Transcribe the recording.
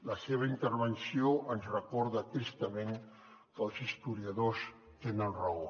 la seva intervenció ens recorda tristament que els historiadors tenen raó